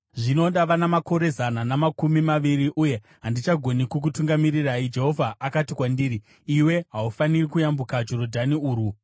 “Zvino ndava namakore zana namakumi maviri uye handichagoni kukutungamirirai. Jehovha akati kwandiri, ‘Iwe haufaniri kuyambuka Jorodhani urwu.’